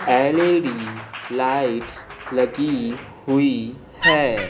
L E D lights लगी हुई है।